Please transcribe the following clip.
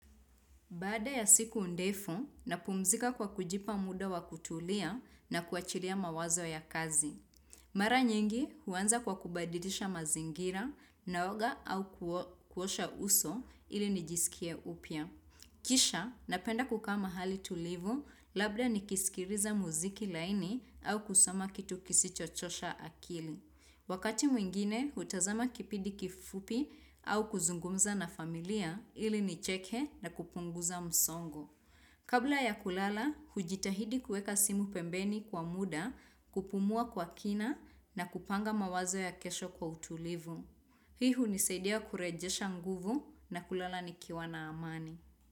Baada ya siku ndefu, napumzika kwa kujipa muda wa kutulia na kuachilia mawazo ya kazi. Mara nyingi huanza kwa kubadilisha mazingira naoga au kuosha uso ili nijisikia upya. Kisha, napenda kukaa mahali tulivu labda nikisikiliza mziki laini au kusoma kitu kisicho chosha akili. Wakati mwingine, hutazama kipindi kifupi au kuzungumza na familia ili nicheke na kupunguza msongo. Kabla ya kulala, hujitahidi kuweka simu pembeni kwa muda kupumua kwa kina na kupanga mawazo ya kesho kwa utulivu. Hii hunisaidia kurejesha nguvu na kulala nikiwa na amani.